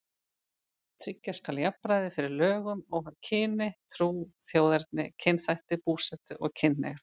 Tryggja skal jafnræði fyrir lögum óháð kyni, trú, þjóðerni, kynþætti, búsetu og kynhneigð.